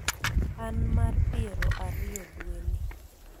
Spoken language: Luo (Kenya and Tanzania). an mar piero ariyo dwe ni